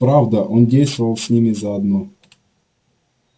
правда он действовал с ними заодно